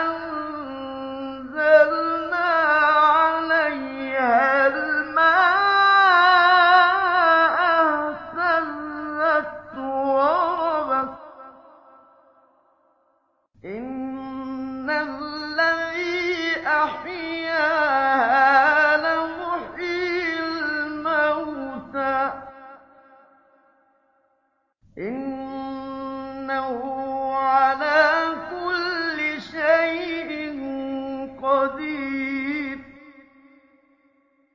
أَنزَلْنَا عَلَيْهَا الْمَاءَ اهْتَزَّتْ وَرَبَتْ ۚ إِنَّ الَّذِي أَحْيَاهَا لَمُحْيِي الْمَوْتَىٰ ۚ إِنَّهُ عَلَىٰ كُلِّ شَيْءٍ قَدِيرٌ